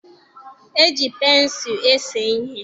E ji pensụlụ ese ihe.